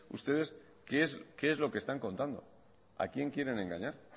ustedes qué es lo que están contando a quién quieren engañar